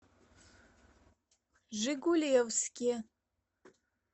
жигулевске